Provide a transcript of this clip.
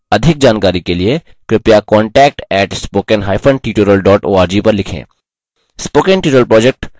अधिक जानकारी के लिए कृपया contact @spokentutorial org पर लिखें